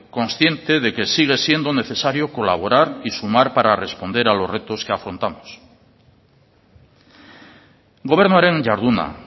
consciente de que sigue siendo necesario colaborar y sumar para responder a los retos que afrontamos gobernuaren jarduna